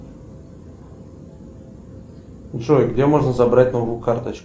джой где можно забрать новую карточку